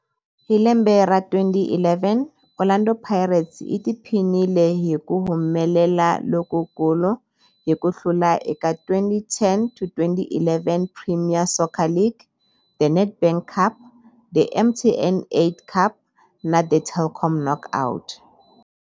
Hi lembe ra 2011, Orlando Pirates yi tiphinile hi ku humelela lokukulu hi ku hlula eka 2010-11 Premier Soccer League, The Nedbank Cup, The MTN 8 Cup na The Telkom Knockout.